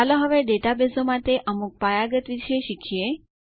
ચાલો હવે ડેટાબેઝો માટે અમુક પાયાગત વિશે શીખીએ